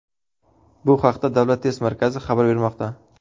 Bu haqda Davlat test markazi xabar bermoqda .